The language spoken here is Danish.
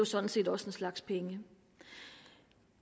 sådan set også en slags penge